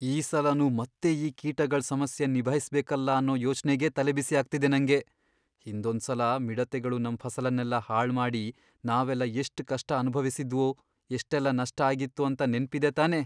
ಈ ಸಲನೂ ಮತ್ತೆ ಈ ಕೀಟಗಳ್ ಸಮಸ್ಯೆನ್ ನಿಭಾಯ್ಸ್ಬೇಕಲ್ಲ ಅನ್ನೋ ಯೋಚ್ನೆಗೇ ತಲೆಬಿಸಿ ಆಗ್ತಿದೆ ನಂಗೆ. ಹಿಂದೊಂದ್ಸಲ ಮಿಡತೆಗಳು ನಮ್ ಫಸಲನ್ನೆಲ್ಲ ಹಾಳ್ಮಾಡಿ ನಾವೆಲ್ಲ ಎಷ್ಟ್ ಕಷ್ಟ ಅನ್ಭವಿಸಿದ್ವು, ಎಷ್ಟೆಲ್ಲ ನಷ್ಟ ಆಗಿತ್ತು ಅಂತ ನೆನ್ಪಿದೆ ತಾನೇ?